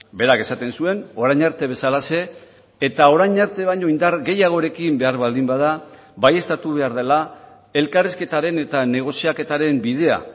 berak esaten zuen orain arte bezalaxe eta orain arte baino indar gehiagorekin behar baldin bada baieztatu behar dela elkarrizketaren eta negoziaketaren bidea